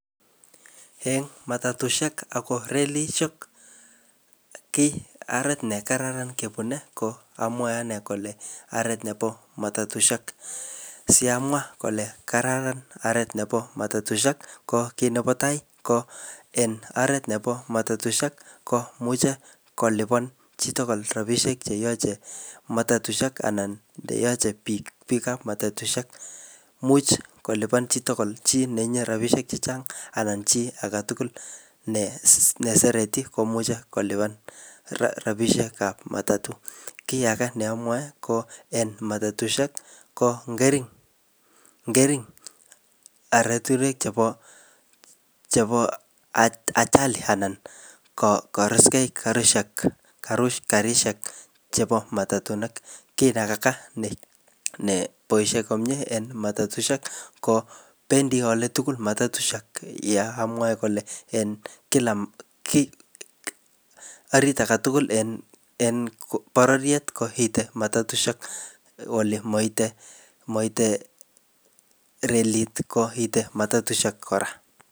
Eng matatushek ako relishek, ki aret ne kararan kebune ko, amwae ane kole aret nebo mtatushek. Si amwa kole kararan aret nebo matatushek, ko kiy nebo tai, ko en aret nebo matatushek, komuchi kolipan chi tugul rabishek che iyache matatushek anan che yache anan biikab matatushek. Imuch kolipan chitugul chi netinye rabishek chechang anan chi age tugul ne, ne sereti komuche kolipan rabishekab matatu. Kiy age ne amwae, ko en matatushek, ko ngering', ngering' aratunwek chebo, chebo ajali anan koruskey karushek, karishek chebo matatunik. Kiy nekaka ne boisie komyee eng matatushek, ko bendi ole tugul matatushek. Ye amwae kole en kila ki arit age tugul en, en bororiet ko ite matatushek ole maite, maite relit, koite matatushek kora.